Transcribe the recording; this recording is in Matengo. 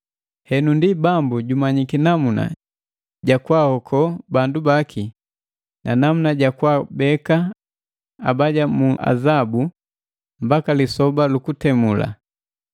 Henu ndi Bambu jumanyiki namuna ja kwaahoko bandu baki, na namuna jakwaabeka abaja mu azabu mbaka lisoba lu kutemula,